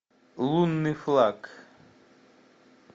лунный флаг